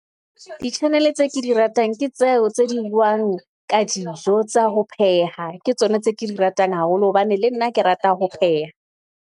Di-channel-e tseo ke di ratang, ke tseo tse di buang ka dijo tsa ho pheha, ke tsona tse ke di ratang haholo hobane le nna ke rata ho pheha.